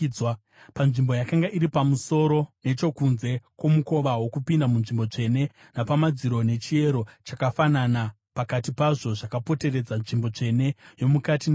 Panzvimbo yakanga iri pamusoro nechokunze kwomukova wokupinda munzvimbo tsvene napamadziro, nechiyero chakafanana pakati pazvo zvakapoteredza nzvimbo tsvene yomukati neyokunze,